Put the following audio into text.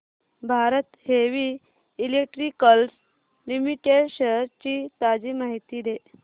Bharat heavy electricals limited shares ची ताजी माहिती दे